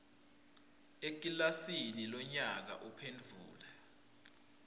ekilasini lonyaka uphendvule